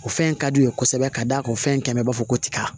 O fɛn in ka d'u ye kosɛbɛ ka d'a kan fɛn min kɛn bɛ b'a fɔ ko tiga